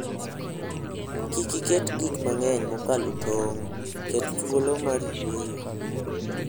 Kik iket gik mang'eny mokalo tong'; ket thuolo mar yueyo.